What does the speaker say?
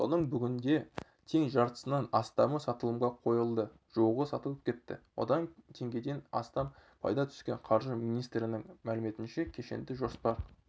соның бүгінде тең жартысынан астамы сатылымға қойылды жуығы сатылып кетті одан теңгеден астам пайда түскен қаржы министрінің мәліметінше кешенді жоспар